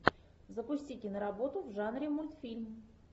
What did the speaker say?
запусти киноработу в жанре мультфильм